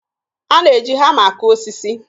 A na-eji hama akụ osisi